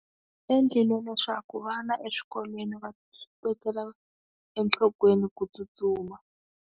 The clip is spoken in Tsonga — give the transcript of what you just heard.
U endlile leswaku vana eswikolweni va tekela enhlokweni ku tsutsuma.